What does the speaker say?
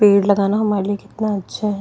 पेड़ लगाना हमारे लिए कितना अच्छा है।